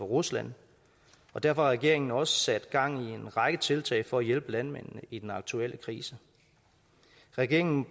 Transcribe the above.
rusland og derfor har regeringen også sat gang i en række tiltag for at hjælpe landmændene i den aktuelle krise regeringen